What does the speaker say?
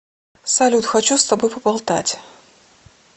салют хочу с тобой поболтать